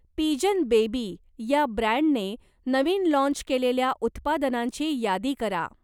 Pigeon baby या ब्रँडने नवीन लाँच केलेल्या उत्पादनांची यादी करा?